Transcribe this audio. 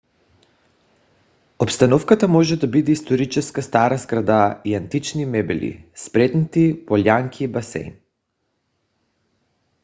обстановката може да бъде историческа стара сграда с антични мебели спретнати полянки и басейн